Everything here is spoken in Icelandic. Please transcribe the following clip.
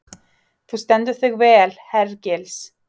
Þú stendur þig vel, Hergils!